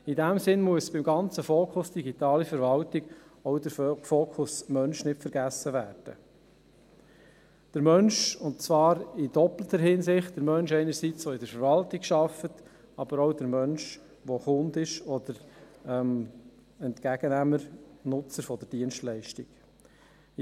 In diesem Sinn darf beim ganzen Fokus digitale Verwaltung auch der Fokus Mensch nicht vergessen werden, und zwar in doppelter Hinsicht: den Menschen, der in der Verwaltung arbeitet, aber auch den Menschen, der Kunde oder Entgegennehmer/Nutzer der Dienstleistung ist.